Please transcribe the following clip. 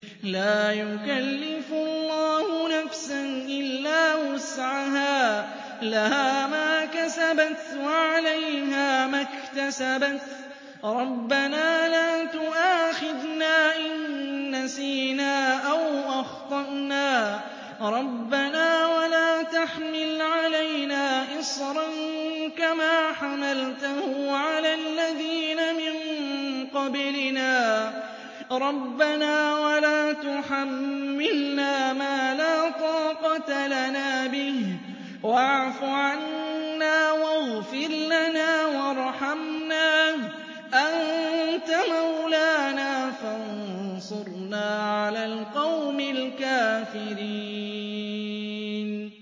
لَا يُكَلِّفُ اللَّهُ نَفْسًا إِلَّا وُسْعَهَا ۚ لَهَا مَا كَسَبَتْ وَعَلَيْهَا مَا اكْتَسَبَتْ ۗ رَبَّنَا لَا تُؤَاخِذْنَا إِن نَّسِينَا أَوْ أَخْطَأْنَا ۚ رَبَّنَا وَلَا تَحْمِلْ عَلَيْنَا إِصْرًا كَمَا حَمَلْتَهُ عَلَى الَّذِينَ مِن قَبْلِنَا ۚ رَبَّنَا وَلَا تُحَمِّلْنَا مَا لَا طَاقَةَ لَنَا بِهِ ۖ وَاعْفُ عَنَّا وَاغْفِرْ لَنَا وَارْحَمْنَا ۚ أَنتَ مَوْلَانَا فَانصُرْنَا عَلَى الْقَوْمِ الْكَافِرِينَ